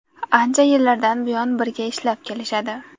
Ancha yillardan buyon birga ishlab kelishadi.